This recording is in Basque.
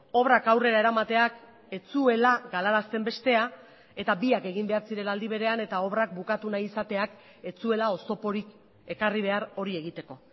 obrak aurrera eramateak ez zuela galarazten bestea eta biak egin behar zirela aldi berean eta obrak bukatu nahi izateak ez zuela oztoporik ekarri behar hori egiteko